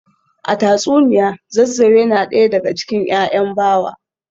A tatsuniya Zazzau yana daya daga cikin ‘ya’yan Bawa